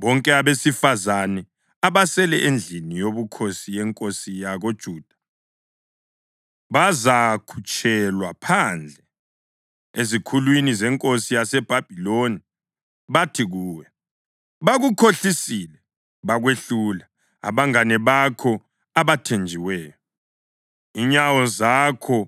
Bonke abesifazane abasele endlini yobukhosi yenkosi yakoJuda bazakhutshelwa phandle ezikhulwini zenkosi yaseBhabhiloni bathi kuwe: ‘Bakukhohlisile bakwehlula abangane bakho abathenjiweyo. Inyawo zakho